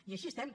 i així estem